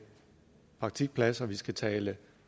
praktikpladser op vi skal tale